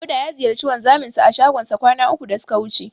Dauda ya ziyarci wanzaminsa a shagonsa kwana uku da suka wuce.